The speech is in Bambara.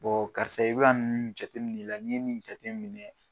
karisa i bɛ k'a nin jate minɛ i la n'i ye nin jate minɛ.